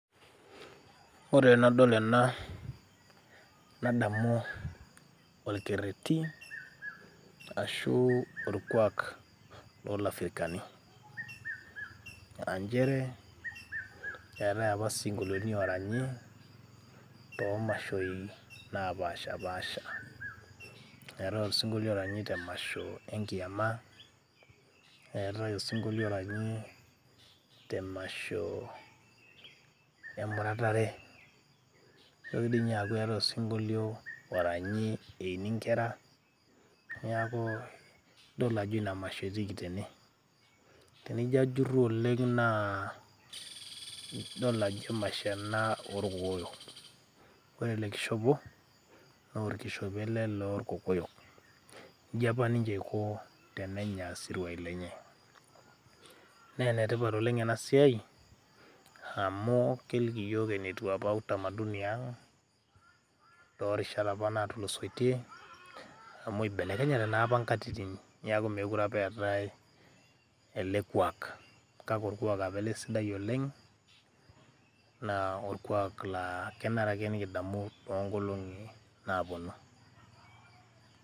ore tenadol ena nadamu orkerreti ashu orkuak lolafrikani anchere eetae apa sinkolioni oranyi tomashoi naapashapasha eetae osinkolio oranyi te masho enkiama, eetae osinkolio oranyi temasho emuratare nitoki dii ninye aaku eetae osinkolio oranyi eini inkera niaku idol ajo ina masho etiiki tene, tenijio ajurru oleng naa idol ajo emasho ena orkokoyok ore ele kishopo norkishopo ele lorkokoyok inji apa ninche eiko tenenya isiruai lenye nee enetipat oleng ena siai amu keliki iyiok enetiu apa utamaduni ang torishat apa natulusoitie amu ibelekenyate naa apa inkatitin niaku mekure apa eetae elekuak kake orkuak apa ele sidai oleng naa orkuak laa kenare ake nikidamu tonkolong'i naponu.